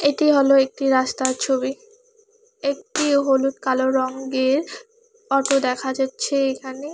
এটি হলো একটি রাস্তার ছবি একটি হলুদ কালো রঙ্গের অটো দেখা যাচ্ছে এখানে।